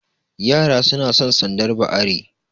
Yara suna san sandar ba are